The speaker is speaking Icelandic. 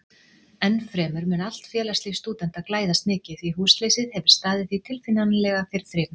Ennfremur mun allt félagslíf stúdenta glæðast mikið, því húsleysið hefir staðið því tilfinnanlega fyrir þrifum.